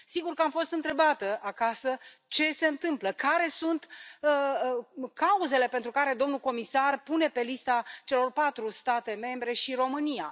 Sigur că am fost întrebată acasă ce se întâmplă, care sunt cauzele pentru care domnul comisar pune pe lista celor patru state membre și România.